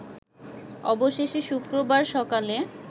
অবশেষে শুক্রবার সকালে